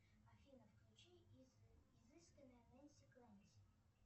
афина включи изысканная ненси кленси